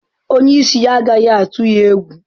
Onye isi ya agaghị atụ ya egwu.